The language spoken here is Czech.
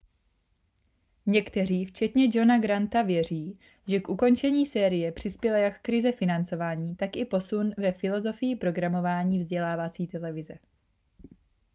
někteří včetně johna granta věří že k ukončení série přispěla jak krize financování tak i posun ve filozofii programování vzdělávací televize